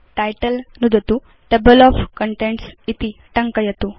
title नुदतु table of contents इति टङ्कयतु